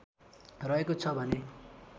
रहेको छ भने